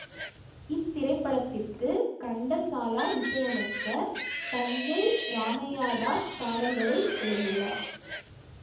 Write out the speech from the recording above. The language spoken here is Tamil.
இத்திரைப்படத்திற்கு கண்டசாலா இசையமைக்க தஞ்சை இராமையாதாஸ் பாடல்களை எழுதியுள்ளார்